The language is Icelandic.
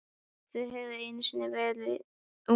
Þau höfðu einu sinni verið ung.